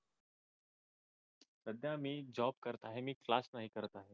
सध्या मी जॉब करत आहे मी क्लास नाही करत आहे.